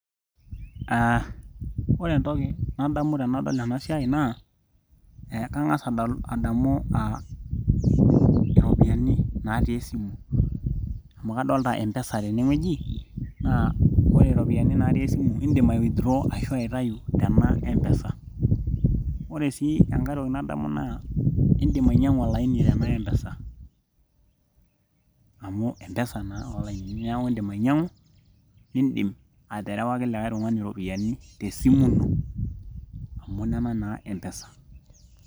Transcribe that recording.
Aaa ore entoki nadamu tenadol ena siai naa kang'as adamu aa iropiyiani natii esimu amu kadolita empesa tenewueji naa ore iropiyiani naati esimu indim ai withdraw ashuu aitayu tena empesa ore sii enkae toki nadamu naa indiim ainyiang'u olaini tena empesa amu empesa naa olainini neeku indim ainyiang'u nindiim aterewaki kikae tung'ani iropiyiani tesimu ino amu nena naa empesa.